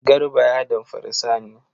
Garba ya damfari Sani.